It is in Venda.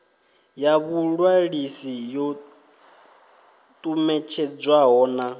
ya vhuṅwalisi yo ṱumetshedzwaho na